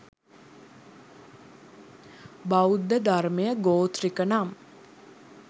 බෞද්ධ ධර්මය ගෝත්‍රික නම්